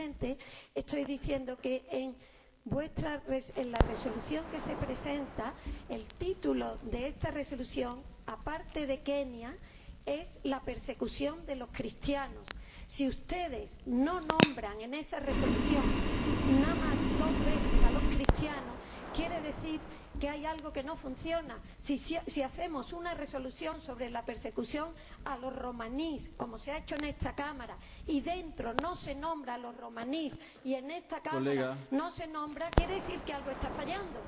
Simplemente estoy diciendo que, en la Resolución que se presenta, el título, aparte de Kenia, es la persecución de los cristianos. Si ustedes no nombran en esa Resolución nada más que dos veces a los cristianos, quiere decir que hay algo que no funciona. Si hacemos una resolución sobre la persecución de los romaníes, como se ha hecho en esta Cámara, y en ella no se nombra a los romaníes, y en esta Cámara no se les nombra, quiere decir que algo está fallando.